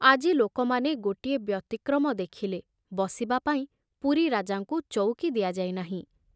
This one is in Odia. ଆଜି ଲୋକମାନେ ଗୋଟିଏ ବ୍ୟତିକ୍ରମ ଦେଖିଲେ, ବସିବା ପାଇଁ ପୁରୀ ରାଜାଙ୍କୁ ଚଉକି ଦିଆଯାଇ ନାହିଁ।